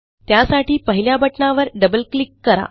त्यासाठी पहिल्या बटणावर डबल क्लिक करा